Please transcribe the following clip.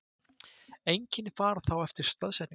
Einkenni fara þá eftir staðsetningu.